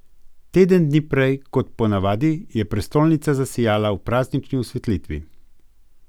Teden dni prej kot ponavadi je prestolnica zasijala v praznični osvetlitvi.